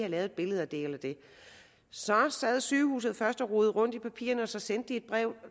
lavet et billede af det eller det så sad sygehuset først og rodede rundt i papirerne og så sendte de et brev